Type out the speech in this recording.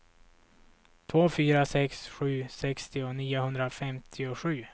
två fyra sex sju sextio niohundrafemtiosju